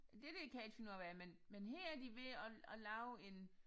Det der kan jeg ikke finde ud af hvad er men men her er de ved at at lave en